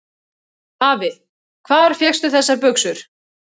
Afi, hvar fékkstu þessar buxur?